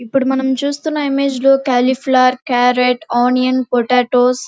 ఇప్పుడు మనం చూస్తున్న ఇమేజ్ లో క్యాలీఫ్లవర్ క్యారెట్ ఆనియన్ పొటాటో --